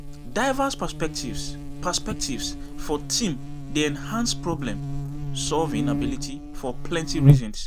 Diverse perspectives perspectives for team dey enhance problem-solving abilities for plenty reasons.